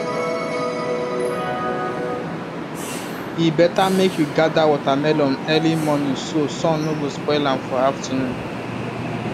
e better make you gather watermelon early morning so sun no go spoil am for afternoon